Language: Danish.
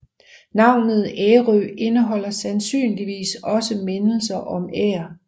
Navnet Ærø indeholder sandsynligvis også mindelser om Ær